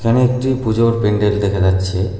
এখানে একটি পুজোর প্যান্ডেল দেখা যাচ্ছে।